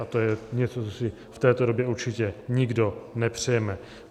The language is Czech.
A to je něco, co si v této době určitě nikdo nepřejeme.